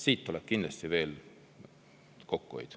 Siit tuleb kindlasti veel kokkuhoid.